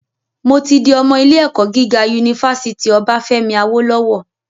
Mo tí di ọmọ ilé - ẹ̀kọ́ gíga unifásítì Obáfẹ́mi Awólọ́wọ̀